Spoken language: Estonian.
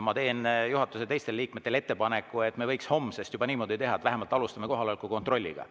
Ma teen teistele juhatuse liikmetele ettepaneku, et me võiks juba homsest niimoodi teha, et vähemalt alustame kohaloleku kontrolliga.